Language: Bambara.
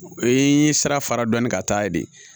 O ye sira fara dɔɔni ka taa ye de